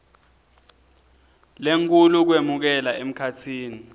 lenkhulu kwemukela emkhatsini